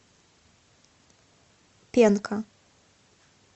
пенка